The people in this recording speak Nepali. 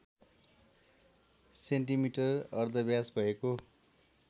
सेन्टिमिटर अर्धव्यास भएको